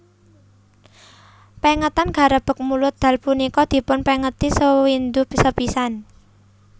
Pengetan Garebeg Mulud Dal punika dipun pengeti sewindu sepisan